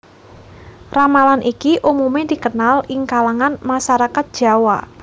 Ramalan iki umumé dikenal ing kalangan masarakat Jawa